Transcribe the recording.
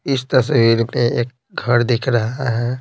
इस तस्वीर में एक घर दिख रहा है।